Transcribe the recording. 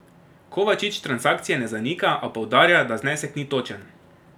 Kovačič transakcije ne zanika, a poudarja, da znesek ni točen.